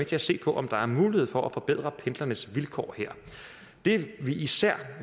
til at se på om der er mulighed for at forbedre pendlernes vilkår her det vil især